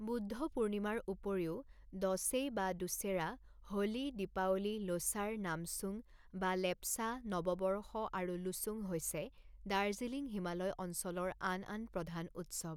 বুদ্ধ পূৰ্ণিমাৰ উপৰিও দঁশেই বা দুশেৰা, হোলী, দীপাৱলী, লোচাৰ, নামছুং বা লেপচা নৱবৰ্ষ, আৰু লোছুং হৈছে দাৰ্জিলিং হিমালয় অঞ্চলৰ আন আন প্ৰধান উৎসৱ।